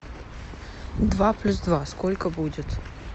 два плюс два сколько будет